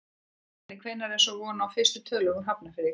Gunnar Atli: Og hvenær er svo von á fyrstu tölum úr Hafnarfirði í kvöld?